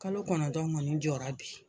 Kalo kɔnɔtɔn kɔni jɔra bi.